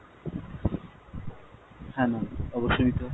হ্যাঁ ma'am অবশ্যই নিতে হয়।